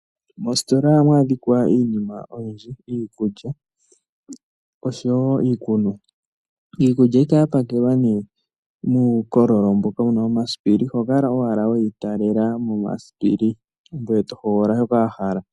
Moositola ohamu adhika iinima oyindji: iikulya oshowo iikunwa. Iikulya ohayi kala ya pakelwa ngaa nee muukololo mboka wuna omasipili, oho kala owala weyi talela momasipili, ngoye to hogolola shoka wa hala.